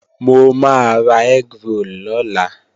Mo máa ra egg roll lọ́la